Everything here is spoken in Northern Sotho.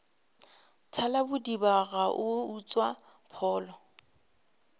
thalabodiba a go utswa pholo